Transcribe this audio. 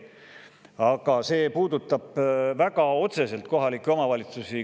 Aga kohalikke omavalitsusi puudutab see väga otseselt.